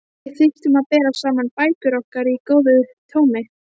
Við þyrftum að bera saman bækur okkar í góðu tómi.